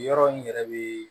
Yɔrɔ n yɛrɛ bɛ